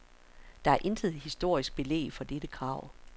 Der er intet historisk belæg for dette krav.